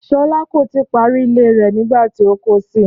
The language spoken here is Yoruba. Ṣọlá kò tí ì parí ilé rẹ̀ nígbà tí ó kó si